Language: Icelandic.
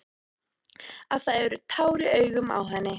Að það eru tár í augunum á henni.